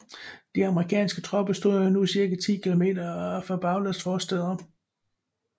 De amerikanske tropper stod nu cirka 10 kilometer fra Bagdads forstæder